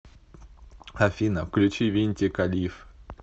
афина включи винтика лиф